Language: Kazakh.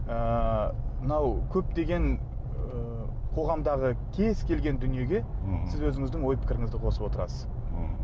ыыы мынау көптеген ы қоғамдағы кез келген дүниеге сіз өзіңіздің ой пікіріңізді қосып отырасыз мхм